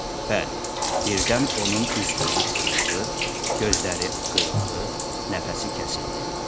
Bəli, birdən onun üz-gözü qırışdı, gözləri qıyıldı, nəfəsi kəsildi.